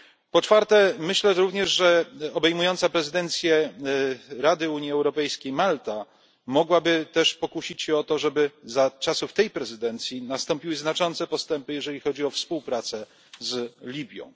Po czwarte, myślę również, że obejmująca prezydencję Rady Unii Europejskiej Malta mogłaby też pokusić się o to, żeby za czasów tej prezydencji nastąpiły znaczące postępy, jeżeli chodzi o współpracę z Libią.